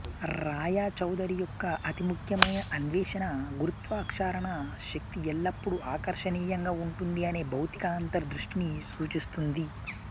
రాయచౌధురి యొక్క అతి ముఖ్యమైన అన్వేషణ గురుత్వాకర్షణ శక్తి ఎల్లప్పుడూ ఆకర్షణీయంగా ఉంటుంది అనే భౌతిక అంతర్ దృష్టిని సూచిస్తుంది